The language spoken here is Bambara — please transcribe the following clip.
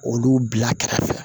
Olu bila kɛrɛfɛ